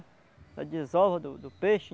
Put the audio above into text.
Da desova do do peixe.